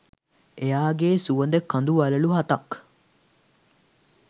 එයාගෙ සුවඳ කඳු වළලු හතක්